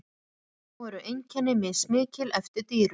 Þó eru einkenni mismikil eftir dýrum.